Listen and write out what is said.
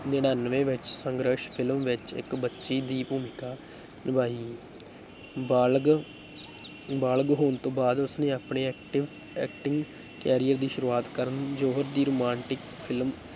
ਨੜ੍ਹਿਨਵੇਂ ਵਿੱਚ ਸੰਘਰਸ਼ film ਵਿੱਚ ਇੱਕ ਬੱਚੀ ਦੀ ਭੂਮਿਕਾ ਨਿਭਾਈ, ਬਾਲਗ ਬਾਲਗ ਹੋਣ ਤੋਂ ਬਾਅਦ ਉਸਨੇ ਆਪਣੇ acting acting career ਦੀ ਸ਼ੁਰੂਆਤ ਕਰਣ ਜੌਹਰ ਦੀ romantic film